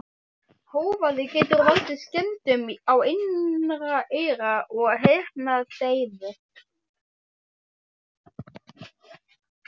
Hávaði getur valdið skemmdum á innra eyra og heyrnardeyfu.